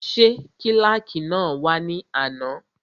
Ṣé kílàkì náà wá ní àná?